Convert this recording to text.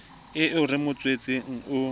eo re mo tswetseng o